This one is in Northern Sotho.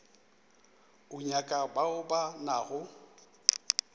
o nyaka bao ba nago